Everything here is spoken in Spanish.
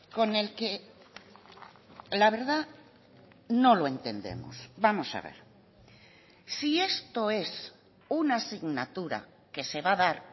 con el que la verdad no lo entendemos vamos a ver si esto es una asignatura que se va a dar